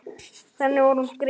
Þannig var hún Gréta.